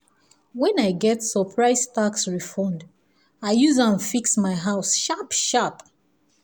when i get surprise tax refund i use am fix my house sharp-sharp.